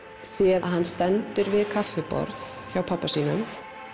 sé að hann stendur við kaffiborð hjá pabba sínum